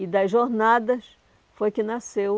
E das Jornadas foi que nasceu